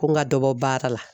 Ko n ka dɔ bɔ baara la